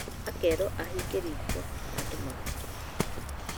Akerwo ahinge riko na andũ magakoma